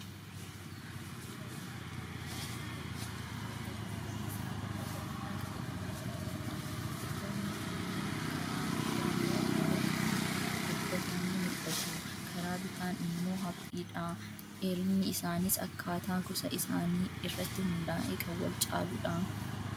Suuraa kana irratti kan argamu biqiloota magariisa lafa bal'aa qabatanii jiraniidha. Biqiloonni kunneen karaa mirgaan baay'ee walitti gobbatanii mul'atu. Karaa bitaan immoo haphiidha. Dheerinni isaaniis akkaataa gosa isaanii irratti hundaa'ee kan wal caaluudha.